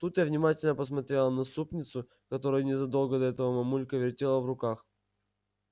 тут я внимательно посмотрела на супницу которую незадолго до этого мамулька вертела в руках